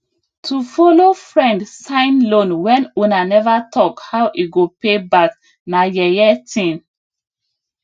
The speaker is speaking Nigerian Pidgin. to follow friend sign loan when una never talk how e go pay back na yeye thing